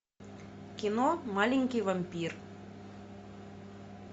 кино маленький вампир